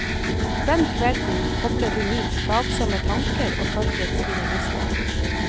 Den kvelden kobler hun ut plagsomme tanker og følger sine lyster.